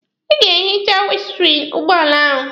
Ị ga-ehicha winiskriini ụgbọala ahụ.